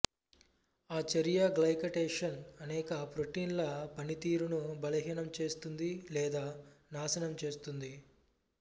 ఈ చర్య గ్లైకటేషన్ అనేక ప్రోటీన్ల పనితీరును బలహీనం చేస్తుంది లేదా నాశనం చేస్తుంది